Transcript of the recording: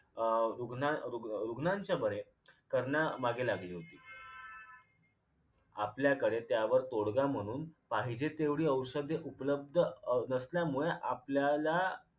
अं रुग्ण रुग रुग्णाच्या बरे करण्यामागे लागली होती आपल्याकडे त्यावर तोडगा म्हणून पाहिजे तेवढी औषध उपलब्ध अं नसल्यामुळे आपल्याला